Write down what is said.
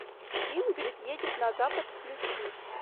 ингрид едет на запад включи